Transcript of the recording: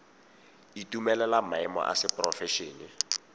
itumelela maemo a seporofe ene